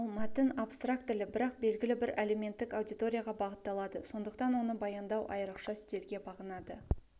ал мәтін абстрактілі бірақ белгілі бір әлеуметтік аудиторияға бағытталады сондықтан оны баяндау айрықша стильге бағынады